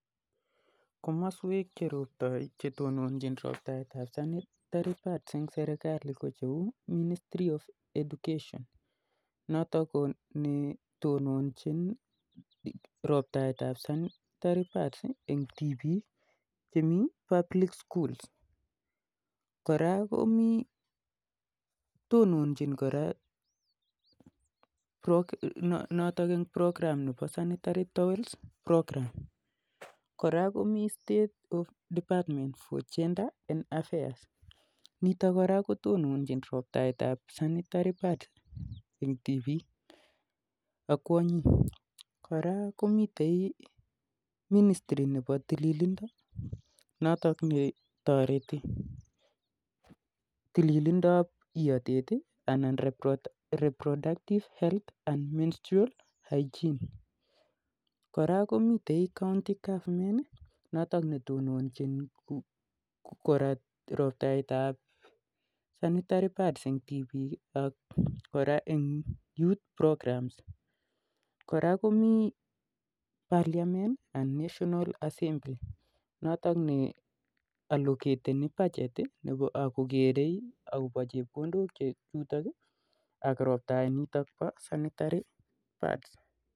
Komoswek che tononjin roptaetap sanitary pads eng serikalit ko cheuu 'ministry of education' notok ko netononjin roptaetap 'sanitary pads' eng tipiik chemii sukulishekap 'public' koraa komii 'ministry'nebo tililindo notok netoretii tililindop iotet notok Koo 'reproductive health and menstrual hygiene' koraa komii serikalitap kaonti kotononjin ii ak parliament ak 'National assembly' nee allocatenjin chepkondook ako tononjin roptaetap 'sanitary pads koraa'